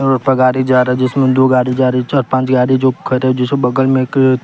road पर गाड़ी जा रहा है जिसमें दो गाड़ी जा रही है चार पांच गाड़ी जो खड़े हैं जिस के बगल में एक--